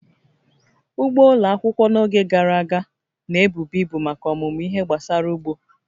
Ugbo ụlọ akwụkwọ n'oge gara aga, na-ebubu ibu maka ọmụmụ ihe gbasara ugbo